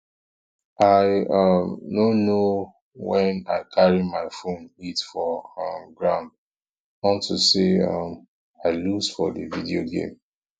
i i um no know wen i carry my phone hit for um ground unto say um i lose for the video game